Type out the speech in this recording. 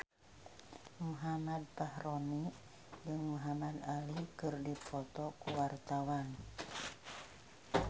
Muhammad Fachroni jeung Muhamad Ali keur dipoto ku wartawan